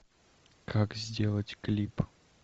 как сделать клип